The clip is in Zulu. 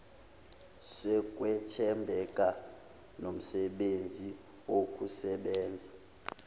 sokwethembeka nomsebenzi wokusebenza